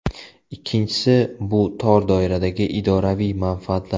Ikkinchisi , bu tor doiradagi idoraviy manfaatlar.